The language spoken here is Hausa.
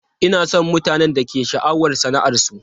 Ina son mutanen da ke da sha'awar sana'arsu.